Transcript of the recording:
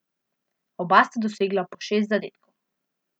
Oba sta dosegla po šest zadetkov.